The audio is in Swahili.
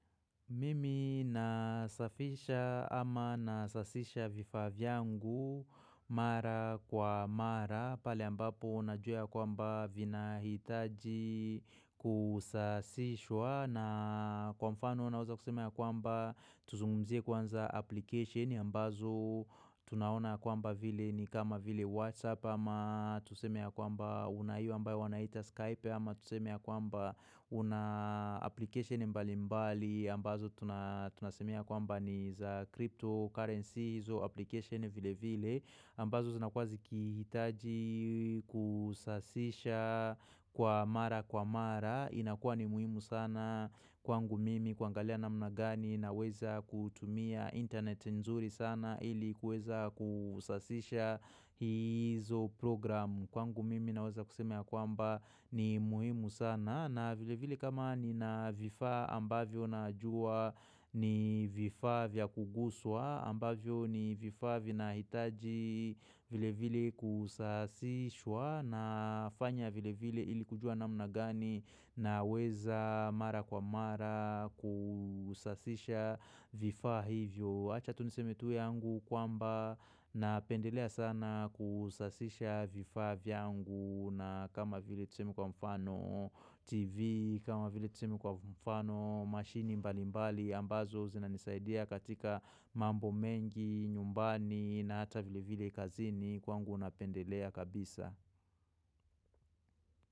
Mimi nasafisha ama nasasisha vifaa vyangu mara kwa mara pale ambapo unajua ya kwamba vinahitaji kusasishwa na kwa mfano unaweza kusema ya kwamba tuzungumzie kwanza application ambazo tunaona ya kwamba vile ni kama vile WhatsApp ama tuseme ya kwamba una hio ambayo wanaita Skype ama tuseme ya kwamba kuna application mbali mbali ambazo tunasemea kwamba ni za crypto currency izo application vile vile ambazo zinakuwa zikihitaji kusasisha kwa mara kwa mara inakuwa ni muhimu sana kwangu mimi kuangalia namna gani naweza kutumia internet nzuri sana ili kuweza kusasisha hizo program kwangu mimi naweza kusema ya kwamba ni muhimu sana na vile vile kama nina vifaa ambavyo najua ni vifaa vya kuguswa ambavyo ni vifaa vinahitaji vile vile kusasishwa nafanya vile vile ili kujua namna gani naweza mara kwa mara kusasisha vifaa hivyo. Acha tu niseme tuwe yangu kwamba napendelea sana kusasisha vifaa vyangu na kama vile tuseme kwa mfano TV, kama vile tuseme kwa mfano machine mbali mbali ambazo zinanisaidia katika mambo mengi, nyumbani na hata vile vile kazini kwangu napendelea kabisa.